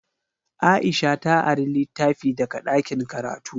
Aisha ta ari litafi daga ɗakin karatu.